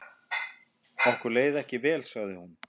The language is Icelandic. Okkur leið ekki vel sagði hún.